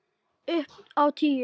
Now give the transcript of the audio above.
Upp á tíu.